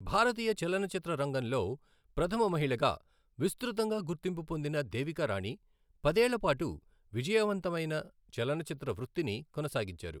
భారతీయ చలనచిత్ర రంగంలో ప్రథమ మహిళగా విస్తృతంగా గుర్తింపు పొందిన దేవికా రాణి పదేళ్ల పాటు విజయవంతమైన చలనచిత్ర వృత్తిని కొనసాగించారు.